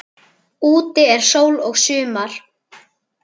Úti er sól og sumar.